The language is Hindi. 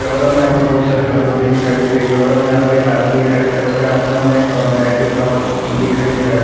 कैमरा मे हमे बहुत सारी कटोरी दिखाई दे रही हैं और हमे यहाँ पर एक आदमी दिखाई दे रहा हैं उसके हाथ मे हमे एक बैग दिखाई दे रहा हैं।